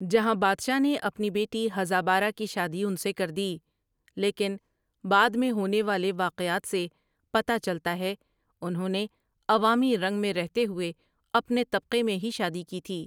جہاں بادشاہ نے اپنی بیٹی ہزابارہ کی شادی ان سے کر دی لیکن بعد میں ہونے والے واقعات سے پتا چلتا ہے انہوں نے عوامی رنگ میں رہتے ہوئے اپنے طبقے میں ہی شادی کی تھی۔